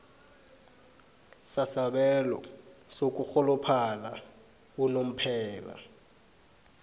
sasabelo sokurholophala unomphela